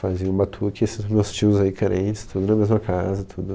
Fazia um batuque, esses meus tios aí crentes, todos na mesma casa, tudo.